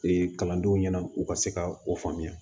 kalandenw ɲɛna u ka se ka o faamuya